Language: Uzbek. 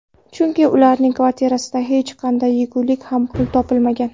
Chunki ularning kvartirasida hech qanday yegulik va pul topilmagan.